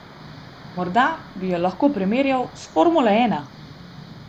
Morda bi jo lahko primerjal s formulo ena.